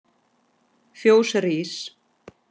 Fjós rís